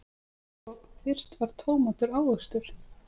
Sko, fyrst var tómatur ávöxtur.